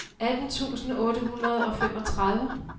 atten tusind otte hundrede og femogtredive